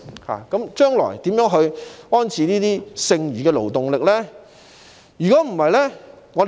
香港將來應如何安置剩餘的勞動力呢？